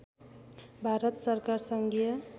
भारत सरकार सङ्घीय